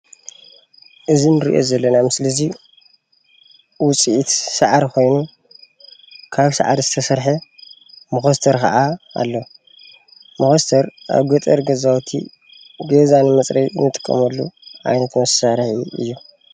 እዚ ንሪኦ ዘለና ምስሊ እዚ ዉፅኢት ሳዕሪ ኮይኑ ካብ ሳዕሪ ዝተሰርሐ መኾስተር ክዓ ኣሎ፡፡ መኾስተር ኣብ ገጠር ገዛዉቲ ገዛ ንመፅረዪ ንጥቀመሉ ዓይነት መሳርሒ እዩ፡፡